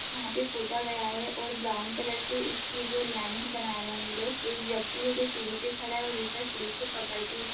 यहाँ पे पोता गया है और ब्राउन कलर से इसकी जो लाइन्स बना रहे हैं ये लोग एक व्यक्ति है जो सीड़ी पे खड़ा है और दूसरा सीड़ी को पकड़ के --